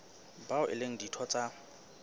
bao e leng ditho tsa